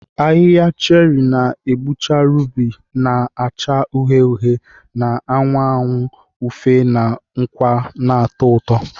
Ahihia cherị na-egbucha rubi na-acha uhie uhie, na-anwa anụ ufe na nkwa na-atọ ụtọ.